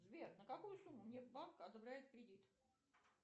сбер на какую сумму мне банк одобряет кредит